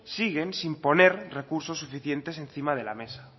siguen sin poner recursos suficientes encima de la mesa